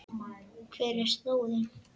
Hver er slóðin?